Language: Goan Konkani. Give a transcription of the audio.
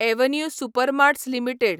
avenue Supermarts limited